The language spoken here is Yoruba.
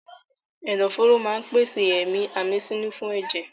Ẹ̀dọ̀ fóró máa pèsè èémí àmísínú fún ẹ̀jẹ̀.